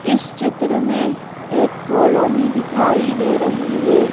इस चित्र मेंएक कॉलोनी दिखाई दे रही है।